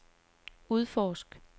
udforsk